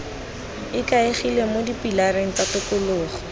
ikaegile mo dipilareng tsa tokologo